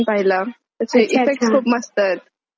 तर स्टोरी हा नाही तो हा बघितला मी ठीक ठीक आहे.